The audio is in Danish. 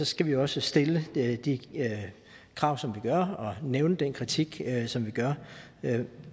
skal vi også stille de krav som vi gør og nævne den kritik som vi gør